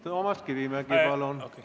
Toomas Kivimägi, palun!